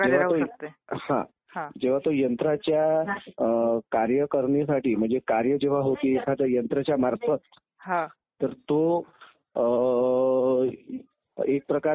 उदाहरणार्थ प्रत्यक्ष निवडणूक आणि एक अप्रत्यक्ष निवडणूक. प्रत्यक्ष निवडणूक ही लोकांच्या द्वारा जनतेच्या द्वारा उमेदवारांना डायरेक्ट मतदान केलं जातं.